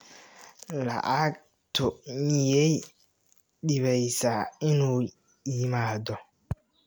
Lacagtu miyay dhibaysaa inuu yimaado?